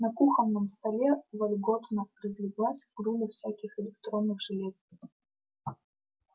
на кухонном столе вольготно разлеглась груда всяких электронных железок